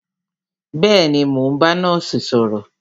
Bẹẹni, mo ń bá nọ́ọ̀sì sọ̀rọ̀